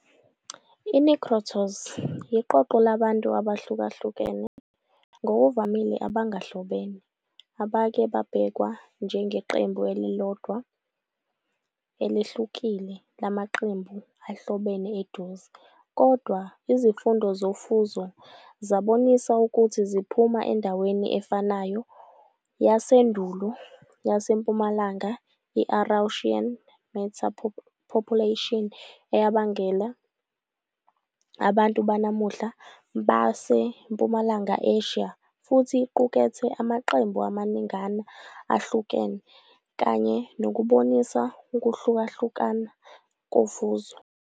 I-Negritos, iqoqo labantu abahlukahlukene, ngokuvamile abangahlobene, abake babhekwa njengeqembu elilodwa elihlukile lamaqembu ahlobene eduze, kodwa izifundo zofuzo zabonisa ukuthi ziphuma endaweni efanayo yasendulo yaseMpumalanga Eurasian meta-population eyabangela abantu banamuhla baseMpumalanga Asia, futhi iqukethe amaqembu amaningana ahlukene, kanye nokubonisa ukuhlukahluka kofuzo.